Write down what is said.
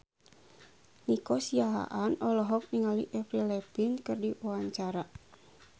Nico Siahaan olohok ningali Avril Lavigne keur diwawancara